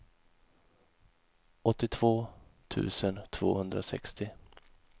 åttiotvå tusen tvåhundrasextio